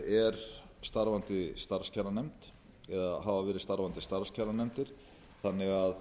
er starfandi starfskjaranefnd eða hafa verið starfandi starfskjaranefnd þannig að